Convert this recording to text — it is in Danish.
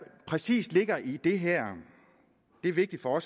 præcis ligger i det her er det vigtigt for